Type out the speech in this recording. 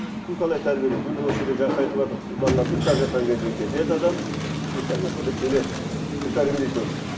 кім қалай тәрбиелейді міне осы жерде жақсы айтыватыр балалар ұйықтап жатқан кезде кетеді адам ұйықтап жатқанда келеді кім тәрбиелейді оны